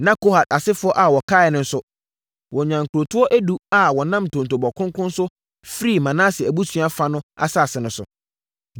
Na Kohat asefoɔ a wɔkaeɛ no nso, wɔnyaa nkurotoɔ edu a wɔnam ntontobɔ kronkron so firii Manase abusua fa no asase so.